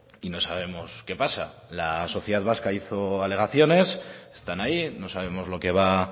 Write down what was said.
y no sabemos qué pasa la sociedad vasca hizo alegaciones están ahí no sabemos lo que va